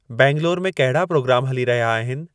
बैंगलोर में कहिड़ा प्रोग्राम हली रहिया आहिनि